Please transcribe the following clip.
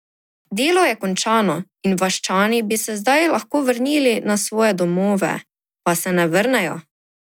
Delo je končano in vaščani bi se zdaj lahko vrnili na svoje domove, pa se ne vrnejo.